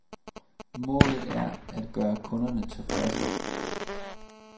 Målet er at gøre kunderne tilfredse.